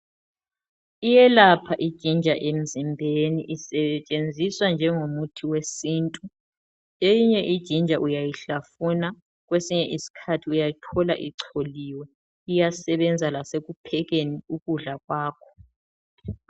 Iyelapha ijinja emzimbeni isetshenziswa njengomuthi wesintu, eyinye ijinja uyayihlafuna kwesinye isikhathi uyayithola icholiwe, iyasebenza lasekuphekeni ukudla kwakho.